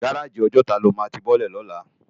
Gáráji Òjòtá lá má ti bòlè lólà